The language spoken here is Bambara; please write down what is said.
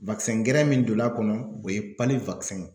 gɛrɛ min donn'a kɔnɔ o ye ye.